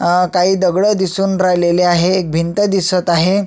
अह काही दगडं दिसून राहिलेले आहे एक भिंत दिसत आहे.